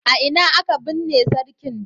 A ina aka binne sarkin?